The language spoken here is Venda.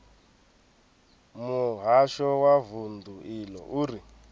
muhasho wa vundu iḽo uri